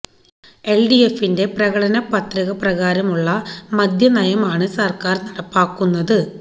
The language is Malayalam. എല് ഡി എഫിന്റെ പ്രകടനപത്രിക പ്രകാരമുള്ള മദ്യനയമാണ് സര്ക്കാര് നടപ്പാക്കുന്നത്